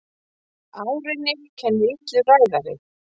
Árinni kennir illur ræðari.